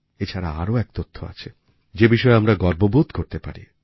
এছাড়া আরও এক তথ্য আছে যে বিষয়ে আমরা গর্ববোধ করতে পারি